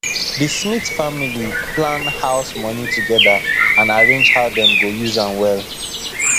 the smith family plan house money together and arrange how dem go use am well